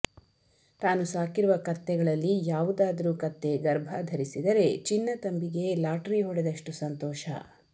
ತಾನು ಸಾಕಿರುವ ಕತ್ತೆಗಳಲ್ಲಿ ಯಾವುದಾದರೂ ಕತ್ತೆ ಗರ್ಭಧರಿಸಿದರೆ ಚಿನ್ನತಂಬಿಗೆ ಲಾಟರಿ ಹೊಡೆದಷ್ಟು ಸಂತೋಷ